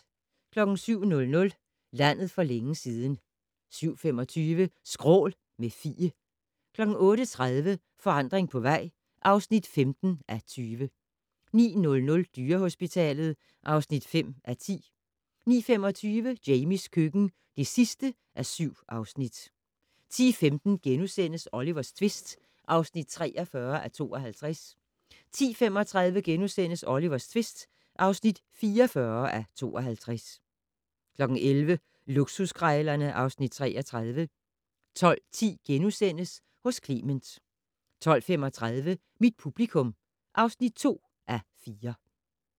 07:00: Landet for længe siden 07:25: Skrål - med Fie 08:30: Forandring på vej (15:20) 09:00: Dyrehospitalet (5:10) 09:25: Jamies køkken (7:7) 10:15: Olivers tvist (43:52)* 10:35: Olivers tvist (44:52)* 11:00: Luksuskrejlerne (Afs. 33) 12:10: Hos Clement * 12:35: Mit publikum (2:4)